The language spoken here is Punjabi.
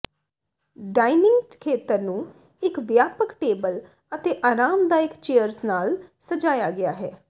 ਡਾਈਨਿੰਗ ਖੇਤਰ ਨੂੰ ਇੱਕ ਵਿਆਪਕ ਟੇਬਲ ਅਤੇ ਆਰਾਮਦਾਇਕ ਚੇਅਰਜ਼ ਨਾਲ ਸਜਾਇਆ ਗਿਆ ਹੈ